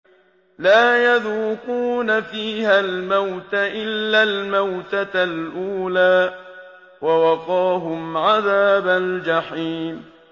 لَا يَذُوقُونَ فِيهَا الْمَوْتَ إِلَّا الْمَوْتَةَ الْأُولَىٰ ۖ وَوَقَاهُمْ عَذَابَ الْجَحِيمِ